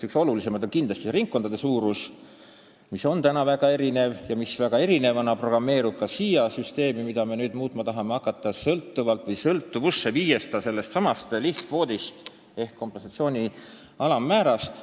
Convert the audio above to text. Üks olulisemaid on kindlasti ringkondade suurus, mis on praegu väga erinev ja erinevana programmeerub ka siia süsteemi, mida me nüüd tahame hakata muutma, viies selle sõltuvusse sellestsamast lihtkvoodist ehk kompensatsiooni alammäärast.